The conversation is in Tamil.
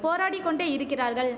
போராடிக் கொண்டேயிருக்கிறார்கள்